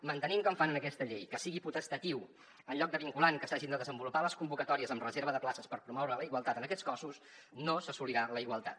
mantenint com fan en aquesta llei que sigui potestatiu en lloc de vinculant que s’hagin de desenvolupar les convocatòries amb reserva de places per promoure la igualtat en aquests cossos no s’assolirà la igualtat